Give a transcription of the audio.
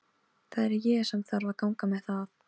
Það er ég sem þarf að ganga með það.